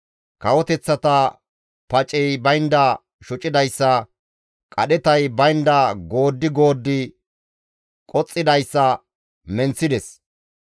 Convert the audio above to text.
Kawoteththata pacey baynda shocidayssa qadhetay baynda gooddi gooddi qoxxidayssa menththides.